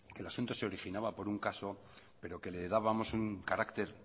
que el asunto se originaba por un caso pero que le dábamos un carácter